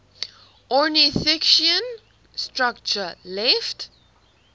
ornithischian structure left